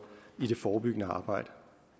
i det forebyggende arbejde